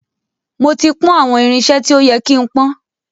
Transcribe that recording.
Mó ti pọ́n àwọn irinṣe tí ó ye kí ń pọ́n.